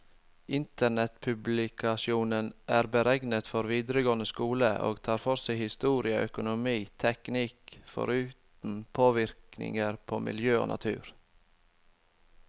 Internettpublikasjonen er beregnet for videregående skole, og tar for seg historie, økonomi, teknikk, foruten påvirkninger på miljø og natur.